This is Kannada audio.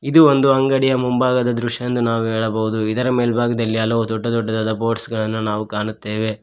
ಇದು ಒಂದು ಅಂಗಡಿಯ ಮುಂಭಾಗದ ದೃಶ್ಯ ಎಂದು ನಾವು ಹೇಳಬಹುದು ಇದರ ಮೇಲಭಾಗದಲ್ಲಿ ಹಲವು ದೊಡ್ಡ ದೊಡ್ಡದಾದ ಬೋರ್ಡ್ಸ್ ಗಳನ್ನು ನಾವು ಕಾಣುತ್ತೆವೆ.